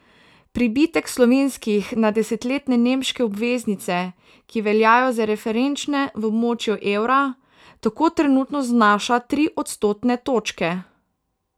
Pribitek slovenskih na desetletne nemške obveznice, ki veljajo za referenčne v območju evra, tako trenutno znaša tri odstotne točke.